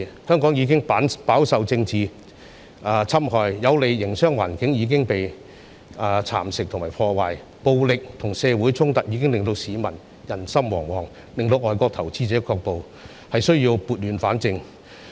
香港已飽受政治侵害，有利的營商環境已遭蠶食和破壞，暴力和社會衝突令市民人心惶惶，令外國投資者卻步，有需要撥亂反正。